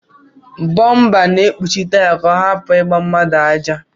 Bomba na ekpuchi taya ka ọrapu igba mmadu aja.